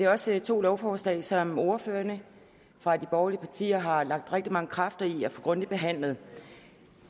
også to lovforslag som ordførerne for de borgerlige partier har lagt rigtig mange kræfter i at få grundigt behandlet